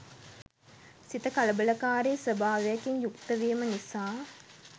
සිත කලබලකාරී ස්වභාවයකින් යුක්තවීම නිසා